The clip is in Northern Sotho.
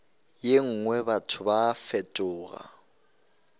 ye nngwe batho ba fetoga